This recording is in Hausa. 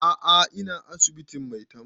A'a ina asibitin maitama